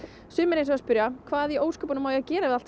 sumir hins vegar spyrja hvað í ósköpunum á ég að gera við allt